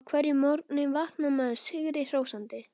Á hverjum morgni vaknar maður sigri hrósandi.